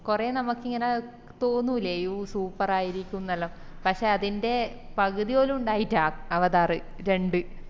കൊറേ നമുക്ക് ഇങ്ങനെ തോന്നുലെ ഇത് super ആയിരിക്കും പക്ഷെ അതിന്റെ പകുതിപോലും ഇണ്ടായിറ്റാ അവതാറ് രണ്ട്